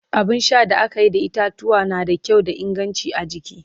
abun Sha da akayi da kayan itatuwwa na da kyau da inganci a jiki